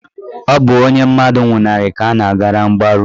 Ọ bụ onye mmadụ nwụnarị ka a na-agara mgbaru.